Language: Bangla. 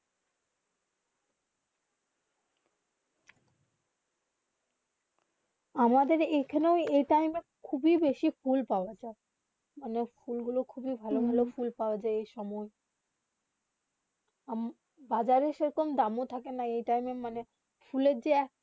আমাদের এখানে এই টাইম. খুব ফোলা পাওবা যায় অনেক ফোলা গুলু খুবই ভালো ভালো ফোলা পাওবা যায় এই সময়ে বাজারে সেই রকম দাম থাকে না এই টাইম ফোলে যে একটা